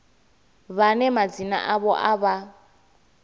vhane madzina avho a vha